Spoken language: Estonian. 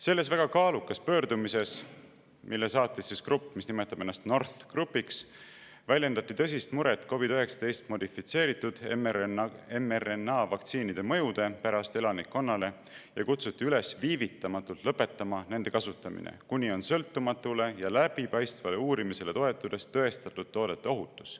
Selles väga kaalukas pöördumises, mille saatis grupp, mis nimetab ennast NORTH Groupiks, väljendati tõsist muret COVID‑19 modifitseeritud mRNA vaktsiinide mõju pärast elanikkonnale ja kutsuti üles viivitamatult lõpetama nende kasutamine, kuni on sõltumatule ja läbipaistvale uurimisele toetudes tõestatud toodete ohutus.